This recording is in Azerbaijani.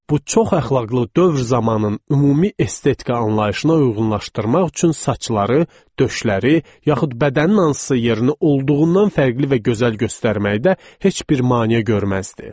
Bu çox əxlaqlı dövr zamanın ümumi estetika anlayışına uyğunlaşdırmaq üçün saçları, döşləri, yaxud bədənin hansısa yerini olduğundan fərqli və gözəl göstərməkdə heç bir maneə görməzdi.